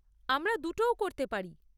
আমরা দুটোও করতে পারি।